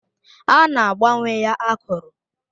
A na-agbanwe ya akụrụ.